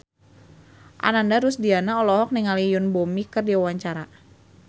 Ananda Rusdiana olohok ningali Yoon Bomi keur diwawancara